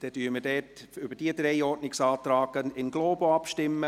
Deshalb stimmen wir über diese drei Ordnungsanträge in globo ab.